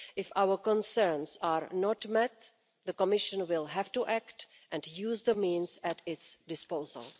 If our concerns are not met, the Commission will have to act, and to use the means at its disposal.